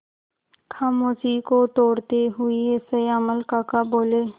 खामोशी को तोड़ते हुए श्यामल काका बोले